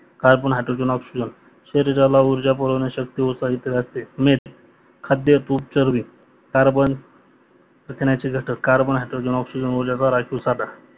carbon, hydrogen, oxygen, शरीराला ऊर्जा पुरवण शक्य होत राहते मीठ खाद्य तूर चरबी कार्बन प्रथिन्याचे घटक कार्बन, हायड्रोजेन, कार्बन ऑलेगर याईसो सध्या